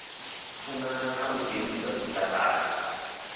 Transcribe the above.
funana na u dzhenisa zwilakati